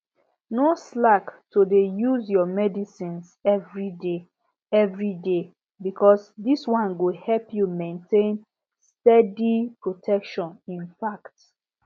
no slack to dey use your medicines everyday everyday because this one go help you maintain steady protection infact